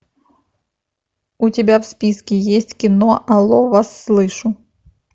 у тебя в списке есть кино алло вас слышу